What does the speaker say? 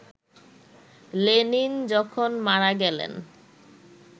Lenin যখন মারা গেলেন